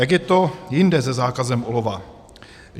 Jak je to jinde se zákazem olova?